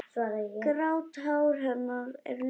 Grátt hár hennar er liðað.